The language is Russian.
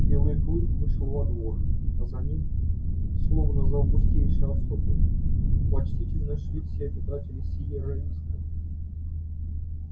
и белый клык вышел во двор а за ним словно за августейшей особой почтительно шли все обитатели сиерра висты